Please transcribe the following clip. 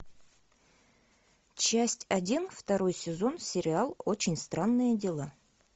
часть один второй сезон сериал очень странные дела